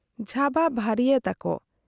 ᱡᱷᱟᱵᱟ ᱵᱷᱟᱨᱤᱭᱟᱹᱛᱟᱠᱚ ᱾